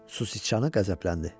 Su Siçanı qəzəbləndi.